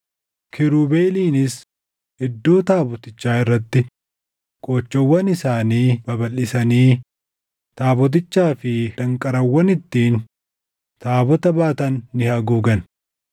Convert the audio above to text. Kiirubeeliinis iddoo taabotichaa irratti qoochoowwan isaanii babalʼisanii taabotichaa fi danqaraawwan ittiin taabota baatan ni haguugan.